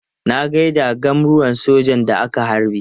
Na gai da gwamruwar sojan da aka harbe.